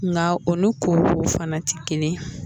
Nka o ni ko ko fana tɛ kelen yen.